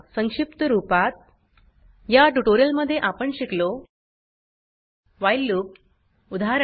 संक्षिप्त रूपात या ट्यूटोरियल मध्ये आपण शिकलो व्हाईल लूप उदाहरण